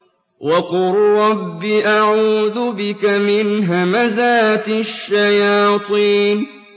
وَقُل رَّبِّ أَعُوذُ بِكَ مِنْ هَمَزَاتِ الشَّيَاطِينِ